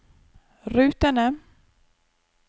rutene